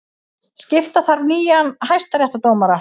Skipa þarf nýja hæstaréttardómara